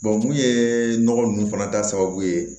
mun ye nɔgɔ ninnu fana ta sababu ye